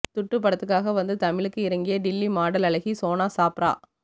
துட்டு படத்துக்காக வந்து தமிழுக்கு இறங்கிய டில்லி மாடல் அழகி சோனா சாப்ரா